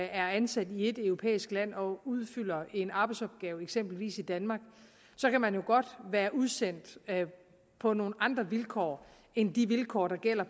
er ansat i ét europæisk land og udfører en arbejdsopgave eksempelvis i danmark kan man godt være udsendt på nogle andre vilkår end de vilkår der gælder